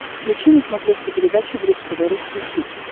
включи на смотрешке передачу бридж тв русский хит